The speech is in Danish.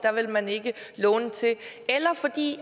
vil man ikke låne til eller fordi